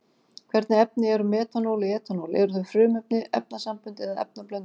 Hvernig efni eru metanól og etanól, eru þau frumefni, efnasambönd eða efnablöndur?